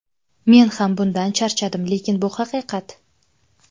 Men ham bundan charchadim, lekin bu haqiqat.